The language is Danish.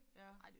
Ja